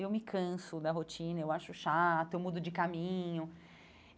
Eu me canso da rotina, eu acho chato, eu mudo de caminho.